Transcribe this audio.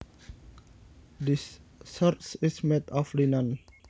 This shirt is made of linen